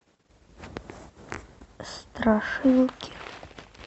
страшилки